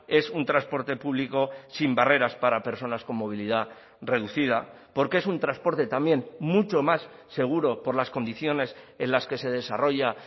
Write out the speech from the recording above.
es un transporte público sin barreras para personas con movilidad reducida porque es un transporte también mucho más seguro por las condiciones en las que se desarrolla